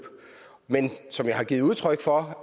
men som jeg har givet udtryk for